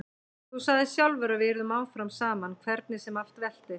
Þú sagðir sjálfur að við yrðum áfram saman hvernig sem allt veltist.